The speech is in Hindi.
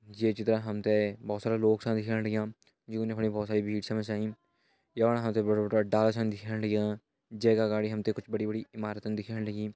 ये चित्रा हम तें भोत सारा लोग छा दिखेण लग्यां जून यफणी भोत सारी भीड़ छन मचाईं यफणा हम ते बड़ा बड़ा डाला छन दिखेण लग्यां जे का अगाड़ी हम तें कुछ बड़ी बड़ी इमारतन दिखेण लगीं।